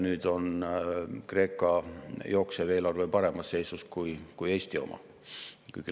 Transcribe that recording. Nüüd on Kreeka jooksev eelarve paremas seisus kui Eesti oma.